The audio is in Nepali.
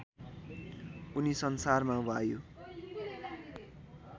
उनी संसारमा वायु